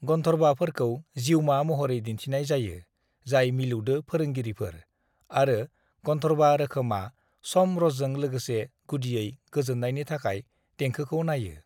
"गनधर्वाफोरखौ जिवमा महरै दिन्थनाय जायो जाय मिलौदो फोरोंगिरिफोर, आरो गनधर्वा रोखोमा स'म रसजों लोगोसे गुदियै गोजोननायनि थाखाय देंखोखौ नायो।"